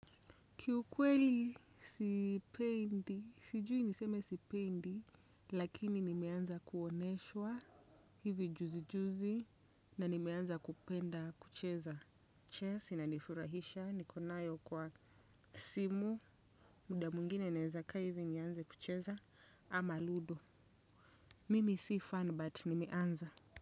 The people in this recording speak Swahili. Kiukweli sipendi, sijui niseme sipendi lakini nimeanza kuonyeshwa hivi juzi juzi na nimeanza kupenda kucheza Chess inanifurahisha niko nayo kwa simu, muda mwingine nawezakaa hivi nianze kucheza ama ludo. Mimi si fan but nimeanza.